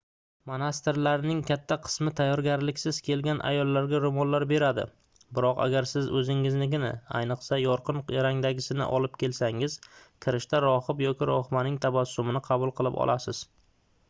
monastirlarning katta qismi tayyorgarliksiz kelgan ayollarga roʻmollar beradi biroq agar siz oʻzingiznikini ayniqsa yorqin rangdagisini olib kelsangiz kirishda rohib yoki rohibaning tabassumini qabul qilib olasiz